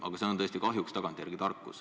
Aga see on tõesti kahjuks tagantjärele tarkus.